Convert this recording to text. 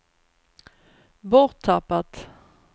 borttappat